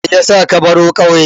Me yasa ka baro ƙauye?